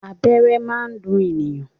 Abẹ́rẹ́ máa ń dùn ènìyàn.